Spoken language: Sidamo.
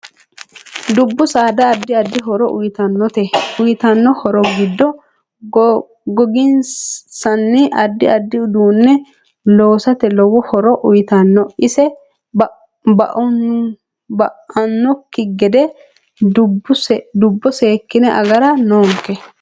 Dubbu saada addi addi horo uyiitannote uyiitanno horo giido goginsanni addi addi uduune loosate liwo horo uyiitanno ise ba'anokki gede dubbo seekine agara noonke